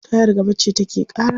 Tayar gaba ce take ƙara.